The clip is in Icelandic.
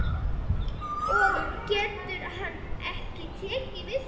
Og getur hann ekki tekið því?